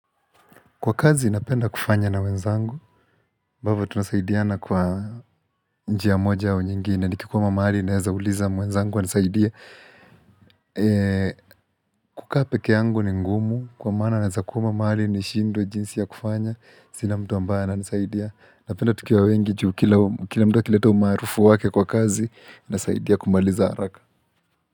Kwa kazi napenda kufanya na wenzangu, ambavyo tunasaidiana kwa njia moja au nyingine, nikikwama mahali naeza uliza mwenzangu anisaidie. Kukaa peke yangu ni ngumu, kwa maana naweza kwama mahali nishindwe jinsi ya kufanya, sina mtu ambaye ananisaidia. Napenda tukiwa wengi, ju kila mtu akileta umaarufu wake kwa kazi, inasaidia kumaliza haraka.